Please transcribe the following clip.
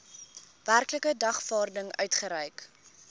werklike dagvaarding uitgereik